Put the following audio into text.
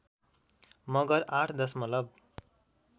मगर ८ दशमलव